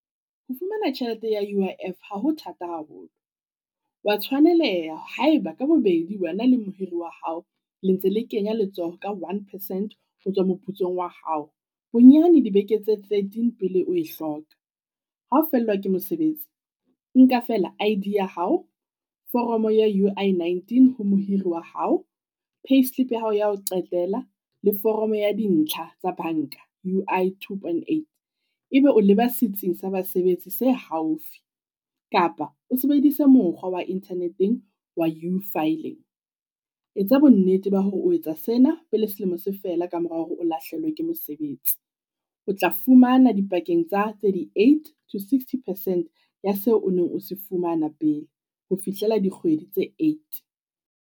Ho fumana tjhelete ya U_I_F ha ho thata haholo, wa tshwaneleha haeba ka bobedi wena le mohiri wa hao le ntse le kenya letsoho ka one percent ho tswa moputsong wa hao. Bonyane dibeke tse thirteen pele oe hloka, hao fellwa ke mosebetsi. Nka feela I_D ya hao, foromo ya U_I nineteen ho mohiri wa hao, payslip ya hao ya ho qetela le foromo ya dintlha tsa banka U_I two Point eight. Ebe o leba setsing sa basebetsi se haufi, kapa o sebedisa mokgwa wa internet-eng wa U-filing. Etsa bonnete ba hore o etsa sena pele selemo se fela ka mora hore o lahlehelwe ke mosebetsi, o tla fumana dipakeng tsa thirty-eight, to sixty percent ya seo o neng o se fumana pele ho fihlela dikgwedi tse eight.